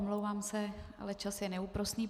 Omlouvám se, ale čas je neúprosný.